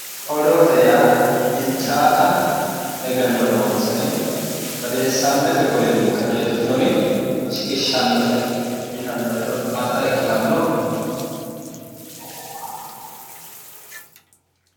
odoote yaa bilchaata egenno noonsari odeessate golinni qajeeltinori shiqishshannote yitanno hedo adda ikkitanno?